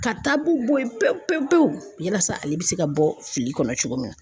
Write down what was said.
Ka bɔ ye pewu pewu pewu yalasa ale bɛ se ka bɔ fili kɔnɔ cogo min na.